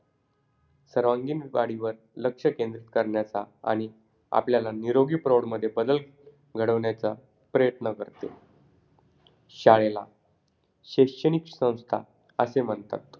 कृती नंबर चार ओळीचा सरळ अर्थ लिहा पुढील ओळीचा सरळ अर्थ सांगा दप्तराचे ओझे जेव्हा नसेल पाठीवरती oxygen चा cylinder न्यावा लागतील वरती .